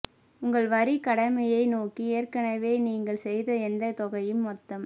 உங்கள் வரி கடமையை நோக்கி ஏற்கனவே நீங்கள் செய்த எந்த தொகையும் மொத்தம்